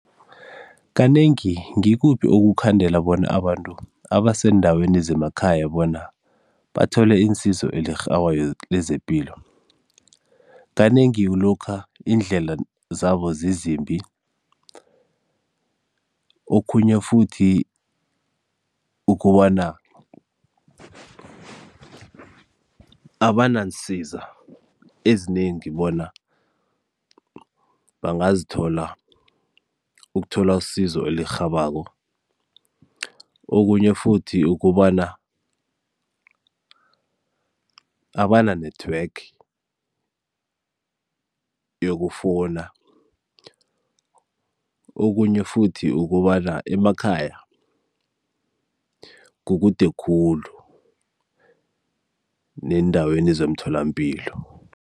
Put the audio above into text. Kanengi, ngikuphi okukhandela bona abantu abaseendaweni zemakhaya bona bathole insizo lezepilo? kanengi lokha iindlela zabo zizimbi okhunye futhi ukobana abanaansiza ezinengi bona bangazithola ukuthola usizo elirhabako, okunye futhi ukobana abana-network yokufowuna, okunye futhi ukobana emakhaya kukude khulu neendaweni zemtholampilo.